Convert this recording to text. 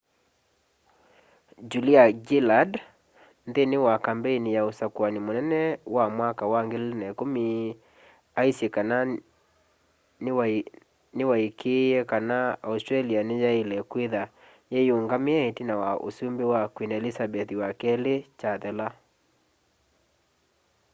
julia gillard nthini wa kambeini ya usakũani mũnene mwaka wa 2010 aisye kana niwaikĩie kana australia ni yaile kwitha yiyũngamie itina wa ũsumbĩ wa queen elizabeth ii chathela